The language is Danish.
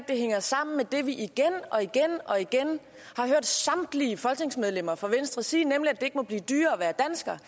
det hænger sammen med det vi igen og igen har hørt samtlige folketingsmedlemmer fra venstre sige nemlig at det ikke må blive dyrere at være dansker